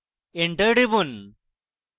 enter টিপুন